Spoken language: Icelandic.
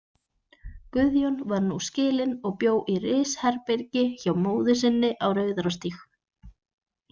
Guðjón var nú skilinn og bjó í risherbergi hjá móður sinni á Rauðarárstíg.